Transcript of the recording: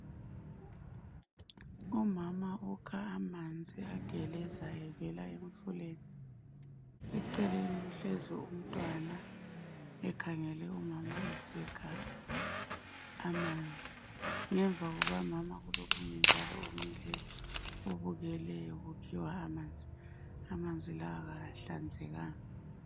Umama ukha amanzi agelezayo evela emfuleni. Eceleni kuhlezi umntwana ekhangele umama esikha amanzi. Ngemva kukamama kulomuye njalo omileyo obukeleyo kukhiwa amanzi. Amanzi lawa akahlanzekanga.